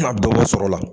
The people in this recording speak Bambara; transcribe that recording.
Na baro sɔrɔ la